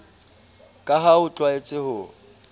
ka ha o tlwaetse ho